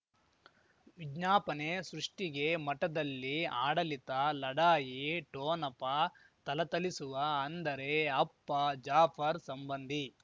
ವಿಜ್ಞಾಪನೆ ಸೃಷ್ಟಿಗೆ ಮಠದಲ್ಲಿ ಆಡಳಿತ ಲಢಾಯಿ ಠೊನಪ ಥಲಥಲಿಸುವ ಅಂದರೆ ಅಪ್ಪ ಜಾಫರ್ ಸಂಬಂಧಿ